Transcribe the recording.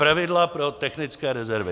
Pravidla pro technické rezervy.